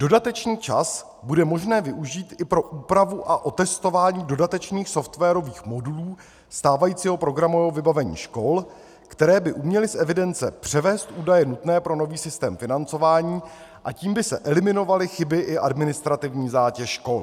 "Dodatečný čas bude možné využít i pro úpravu a otestování dodatečných softwarových modů stávajícího programového vybavení škol, které by uměly z evidence převést údaje nutné pro nový systém financování, a tím by se eliminovaly chyby i administrativní zátěž škol."